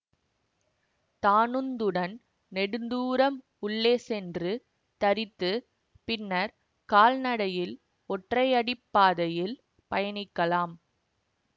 தானுந்துடன் நெடுந்தூரம் உள்ளே சென்று தரித்து பின்னர் கால்நடையில் ஒற்றையடி பாதையில் பயணிக்கலாம்